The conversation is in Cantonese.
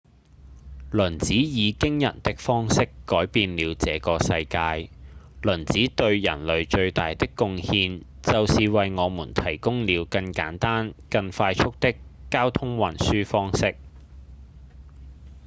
輪子以驚人的方式改變了這個世界輪子對人類最大的貢獻就是為我們提供了更簡單、更快速的交通運輸方式